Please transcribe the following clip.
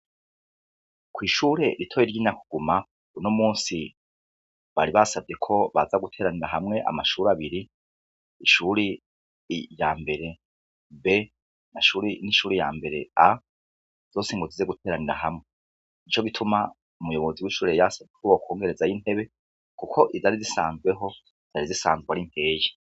Ko'ishure ritoye ry'ina kuguma buno musi bari basavye ko baza guteranira hamwe amashuri abiri ishuri ya mbere be an'ishuri ya mbere a zose inguzize guteranira hamwe ni co gituma umuyobozi w'ishure yasavye koubo kwongereza y'intebe, kuko idari zisanzweho dari zisanzwe ari imkeye.